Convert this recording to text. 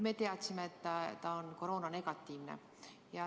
Me teadsime, et ta on koroonanegatiivne.